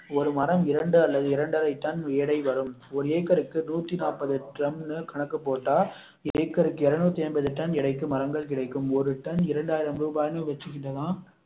ஒரு மரம் இரண்டு அல்லது இரண்டரை டன் எடை வரும் ஒரு ஏக்கருக்கு நூத்தி நாப்பது டன்னு கணக்கு போட்டா ஏக்கருக்கு இருநூத்து ஐம்பது டன் எடைக்கு மரங்கள் கிடைக்கும் ஒரு டன் இரண்டாயிரம் ரூபாய்னு வச்சுக்கிட்டா